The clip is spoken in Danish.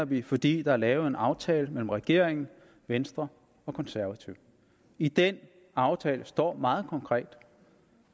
vi fordi der er lavet en aftale mellem regeringen venstre og konservative i den aftale står meget konkret